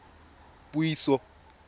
puiso